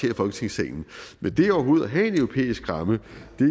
i folketingssalen men det overhovedet at have en europæisk ramme